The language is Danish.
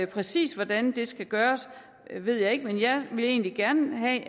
præcis hvordan det skal gøres ved jeg ikke men jeg ville egentlig gerne have